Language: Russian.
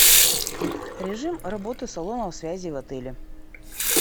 режим работы салонов связи в отеле